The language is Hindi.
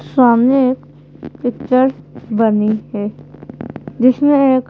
सामने एक पिक्चर बनी है जिसमें एक --